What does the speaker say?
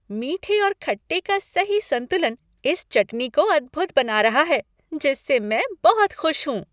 मीठे और खट्टे का सही संतुलन इस चटनी को अद्भुत बना रहा है जिससे मैं बहुत खुश हूँ।